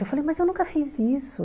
Eu falei, mas eu nunca fiz isso.